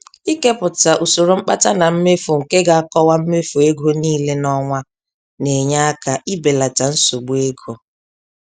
Ikepụta usoro mkpata na mmefu nke ga-akọwa mmefu ego niile n'ọnwa na-enye aka ibelata nsogbu ego.